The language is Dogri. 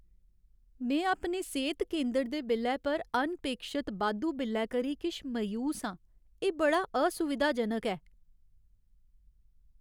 में अपने सेह्त केंदर दे बिल्लै पर अनपेक्षत बाद्धू बिल्लै करी किश मायूस आं, एह् बड़ा असुविधाजनक ऐ।